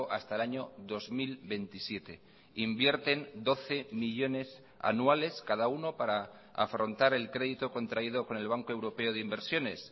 hasta el año dos mil veintisiete e invierten doce millónes anuales cada uno para afrontar el crédito contraído con el banco europeo de inversiones